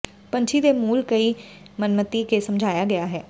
ਪੰਛੀ ਦੇ ਮੂਲ ਕਈ ਮਨਮਤਿ ਕੇ ਸਮਝਾਇਆ ਗਿਆ ਹੈ